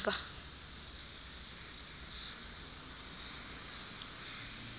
nonyawoza